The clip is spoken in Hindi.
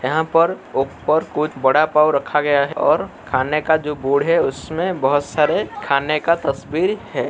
यहां पर ऊपर कुछ वड़ा पाव रखा गया है और खाने का जो बोर्ड है उसमें बहोत सारे खाने का तस्वीर है।